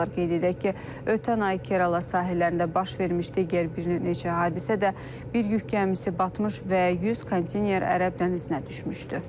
Qeyd edək ki, ötən ay Kerala sahillərində baş vermiş digər bir neçə hadisə də bir yük gəmisi batmış və 100 konteyner ərəb dənizinə düşmüşdü.